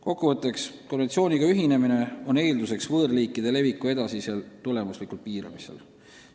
Kokku võttes, konventsiooniga ühinemine on eelduseks võõrliikide leviku edasisel tulemuslikul piiramisel.